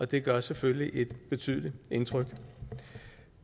det gør selvfølgelig et betydeligt indtryk